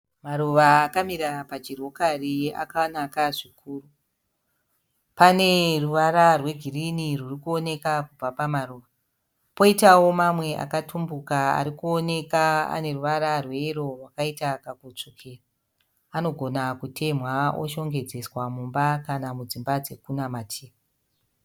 Maruva akamira pachirokari akanaka zvikuru, pane ruvara rwegirinhi rurukuoneka kubva pamaruva ,poitawo mamwe akatumbuka arikuoneka ane ruvara rweyero akaita kakutsvukira anogona kutenhwa oshongedzeswa mumba kana mudzimba dzekunamatira